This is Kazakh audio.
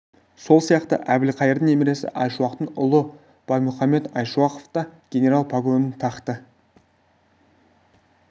сол сияқты әбілқайырдың немересі айшуақтың ұлы баймұхамед айшуақов та генерал погонын тақты